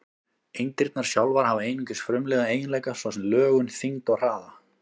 Eindirnar sjálfar hafa einungis frumlega eiginleika, svo sem lögun, þyngd og hraða.